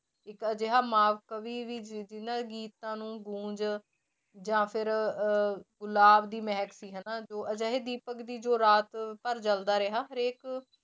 ਇੱਕ ਅਜਿਹਾ ਵੀ ਵੀ ਜਿਹਨਾਂ ਦੇ ਗੀਤਾਂ ਨੂੰ ਗੂੰਝ ਜਾਂ ਫਿਰ ਅਹ ਗੁਲਾਬ ਦੀ ਮਹਿਕ ਸੀ ਹਨਾ ਜੋ ਅਜਿਹੇ ਦੀਪਕ ਦੀ ਜੋ ਰਾਤ ਭਰ ਜਲਦਾ ਰਿਹਾ ਹਰੇਕ